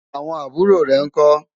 àwọn àbúrò rè nkó?